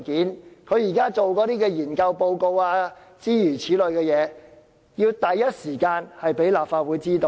政府現在進行的研究報告等，要第一時間讓立法會知道。